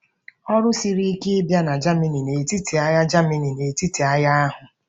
Ọrụ siri ike ịbịa na Germany n'etiti agha Germany n'etiti agha ahụ.